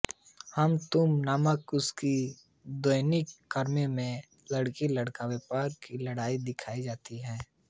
हम तुम नामक उसकी दैनिक कॉमिक में लड़की लड़का व्यवहार की लड़ाई दिखाई जाती है